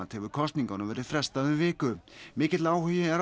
hefur kosningunum verið frestað um viku mikill áhugi er